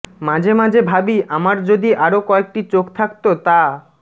মাঝে মাঝে ভাবি আমার যদি আরো কয়েকটি চোখ থাকতো তা